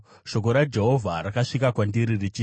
Shoko raJehovha rakasvika kwandiri richiti,